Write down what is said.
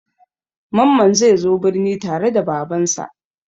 Mamman zai zo birni tare da Babansa.